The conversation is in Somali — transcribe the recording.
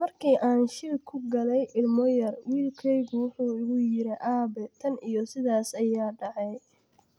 "Markii aan shil ku galay ilmo yar, wiilkeygu wuxuu igu yiri: Aabe, tan iyo sidaas ayaa dhacay.